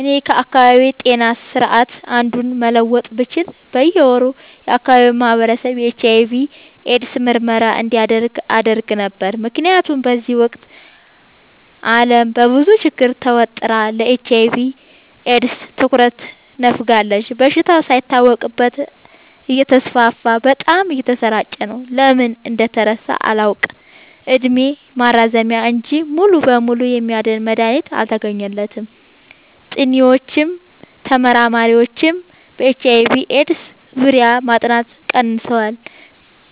እኔ ከአካባቢዬ ጤና ስርዓት አንዱን መለወጥ ብችል በየ ወሩ የአካባቢው ማህበረሰብ የኤች/አይ/ቪ ኤድስ ምርመራ እንዲያደርግ አደረግ ነበር። ምክንያቱም በዚህ ወቅት አለም በብዙ ችግር ተወጥራ ለኤች/አይ/ቪ ኤድስ ትኩረት ነፋጋለች። በሽታው ሳይታወቅበት እተስፋፋ በጣም እየተሰራጨ ነው። ለምን እንደተረሳ አላውቅ እድሜ ማራዘሚያ እንጂ ሙሉ በሙሉ የሚያድን መድሀኒት አልተገኘለትም ጥኒዎችም ተመራማሪዎችም በኤች/አይ/ቪ ኤድስ ዙሪያ ማጥናት ቀንሰዋል